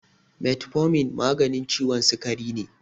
Metformin maganin ciwon sikari ne